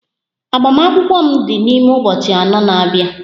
Agbamakwụkwọ m dị n'ime ụbọchị abụọ na-abia